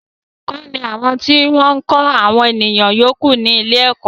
Àwọn olùkọ ni àwọn tí wọ́n ń kọ́ àwọn ènìyàn yòókù ní ilé ẹ̀kọ́